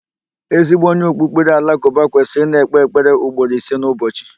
Ezigbo onye okpukpere Alakụba kwesịrị ị na-ekpe ekpere ugboro ise n'ụbọchị.